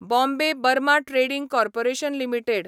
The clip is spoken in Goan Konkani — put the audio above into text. Bombay Burma trading corporation limited